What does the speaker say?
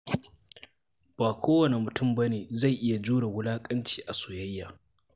Ba kowane mutum ba ne zai iya jure wulaƙanci a soyayya.